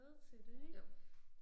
Jo